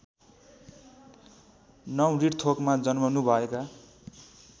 ९ रिटथोकमा जन्मनुभएका